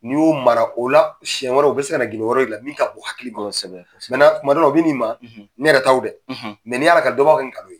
N'i y'o mara , o la, senɲɛ wɛrɛ u bɛ se ka gindo wɛrɛw yira i la, min ka bon hakili ma . Kosɛbɛ. kuma dɔ la ,o bɛ na i ma, ,Ne yɛrɛ taw dɛ, n'i y'a lankali dɔ b'a kɛ nkalon ye.